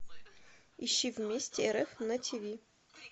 ищи вместе рф на ти ви